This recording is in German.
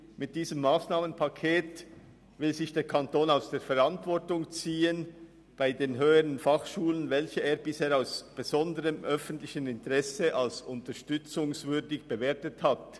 Mit diesem Massnahmenpaket will sich der Kanton bei den HF, welche er bisher als besonders unterstützungswürdig eingeschätzt hat, aus der Verantwortung ziehen.